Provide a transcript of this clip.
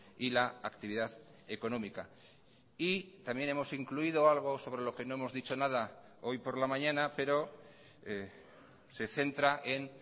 y la actividad económica y también hemos incluido algo sobre lo que no hemos dicho nada hoy por la mañana pero se centra en